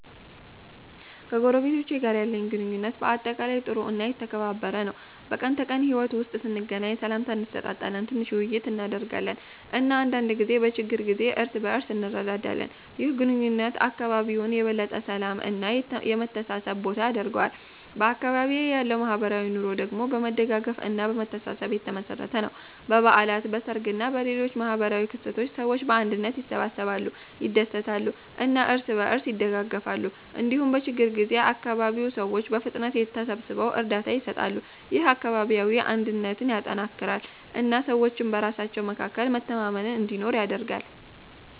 ከጎረቤቶቼ ጋር ያለኝ ግንኙነት በአጠቃላይ ጥሩ እና የተከባበረ ነው። በቀን ተቀን ሕይወት ውስጥ ስንገናኝ ሰላምታ እንሰጣጣለን፣ ትንሽ ውይይት እናደርጋለን እና አንዳንድ ጊዜ በችግር ጊዜ እርስ በእርስ እንረዳዳለን። ይህ ግንኙነት አካባቢውን የበለጠ የሰላም እና የመተሳሰብ ቦታ ያደርገዋል። በአካባቢዬ ያለው ማህበራዊ ኑሮ ደግሞ በመደጋገፍ እና በመተሳሰብ የተመሠረተ ነው። በበዓላት፣ በሰርግ እና በሌሎች ማህበራዊ ክስተቶች ሰዎች በአንድነት ይሰበሰባሉ፣ ይደሰታሉ እና እርስ በእርስ ይደጋገፋሉ። እንዲሁም በችግኝ ጊዜ አካባቢው ሰዎች በፍጥነት ተሰብስበው እርዳታ ይሰጣሉ። ይህ አካባቢያዊ አንድነትን ያጠናክራል እና ሰዎች በራሳቸው መካከል መተማመን እንዲኖር ያደርጋል።